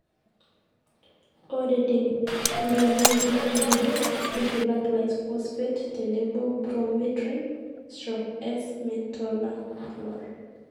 ore tenkurokinoto oo nkujit, ntushula Glyphosate tenebo prometryn/S-metolachlor